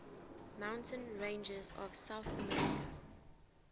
mountain ranges of south america